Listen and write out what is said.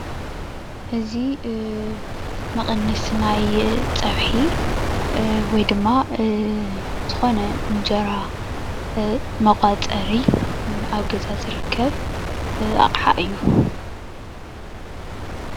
እዙይ መቀነሲ ናይ ፀብሒ ወይ ድማ ዝኮነ እንጀራ መቋፀሪ ኣብ ገዛ ዝርከብ ኣቅሓ እዩ።